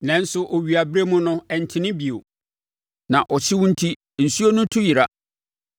nanso owiaberɛ mu no, ɛntene bio na ɔhyew enti nsuo no tu yera.